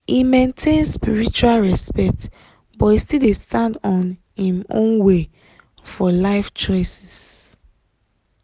e maintain spiritual respect but e still dey stand on im own way for life choices.